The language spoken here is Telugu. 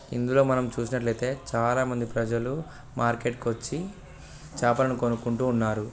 ఇందులో మనం చూసినట్లయితే చాలా మంది ప్రజలు మార్కెట్ వచ్చి చేపలను కనుక్కుంటూ ఉన్నారు.